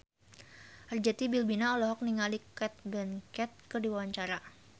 Arzetti Bilbina olohok ningali Cate Blanchett keur diwawancara